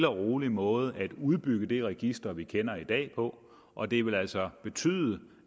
rolig måde at udbygge det register vi kender i dag på og det vil altså betyde